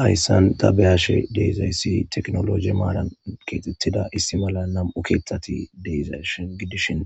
Hayssan ta be'ashshe deizayssi tekkinolojje maaran kexxetida issi malla nam'u keththati deizayssa giddishin